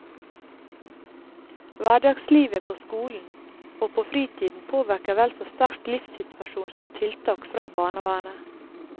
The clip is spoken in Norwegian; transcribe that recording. Hverdagslivet på skolen og på fritiden påvirker vel så sterkt livssituasjonen som tiltak fra barnevernet.